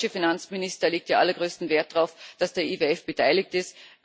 Gerade der deutsche Finanzminister legte allergrößten Wert darauf, dass der IWF beteiligt ist.